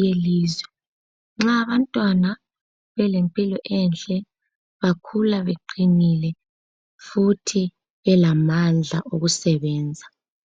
yelizwe. Nxa abantwana belempilo enhle bakhula beqinile futhi belamandla okusebenza.